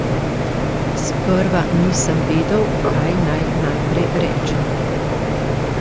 Sprva nisem vedel, kaj naj najprej rečem.